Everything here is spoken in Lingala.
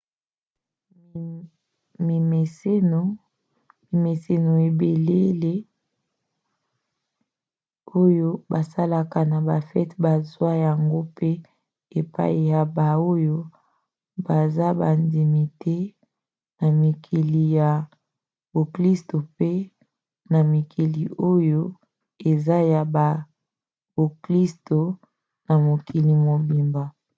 mimeseno ebelele oyo basalaka na bafete bazwa yango mpe epai ya bato oyo baza bandimi te na mikili ya boklisto mpe na mikili oyo eza te ya boklisto na mokili mobimba